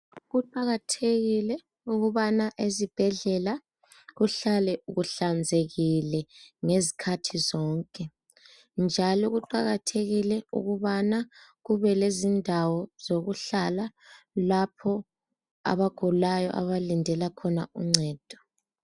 Kuqakathekile ukubana ezibhedlela kuhlale kuhlanzekile ngezikhathi zonke njalo kuqakathekile ukubana kube lezindawo zokuhlala lapho abagulayo abalindela khona uncedo